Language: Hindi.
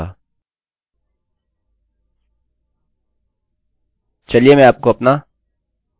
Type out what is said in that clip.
चलिए मैं एलेक्स टाइप करता हूँ और यहाँ क्लिक करता हूँ लेकिन कुछ भी सामने नहीं आया है